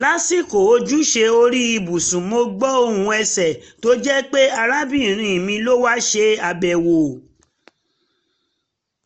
lásìkò ojúṣe orí ibùsùn mo gbọ́ ohùn ẹsẹ̀ — tó jẹ́ pé arábìnrin mi ló wá ṣe àbẹ̀wò